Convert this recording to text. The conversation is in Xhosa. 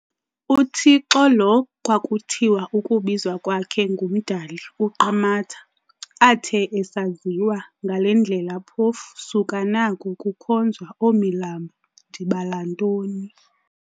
UThixo lo xa kwakuthiwa ukubizwa kwakhe ngumdali-uQamatha.athe asaziwa ngale ndlela phofu, suka nako kukhonzwa oomilambo, ndibala ntoni.